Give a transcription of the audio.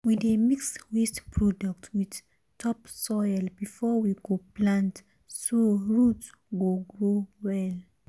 my uncle dey separate big and small yam from each other before him go store dem inside barn.